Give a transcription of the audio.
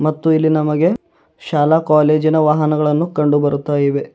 ಮತ್ತು ಇಲ್ಲಿ ನಮಗೆ ಶಾಲಾ ಕಾಲೇಜಿನ ವಾಹನಗಳನ್ನು ಕಂಡುಬರುತ್ತವೆ.